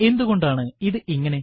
എന്തുകൊണ്ടാണ് ഇത് ഇങ്ങനെ